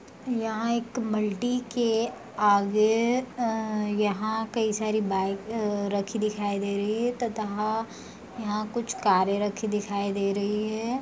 यहाँ एक बल्टी के आगे अ यहाँ कई सारी बाइक अ रखी दिखाई दे रही हैं तथा यहाँ कुछ कारे रखी दिखाई दे रही हैं।